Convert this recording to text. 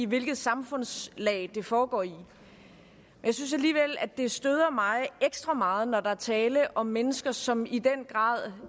hvilket samfundslag det foregår i jeg synes alligevel at det støder mig ekstra meget når der er tale om mennesker som i den grad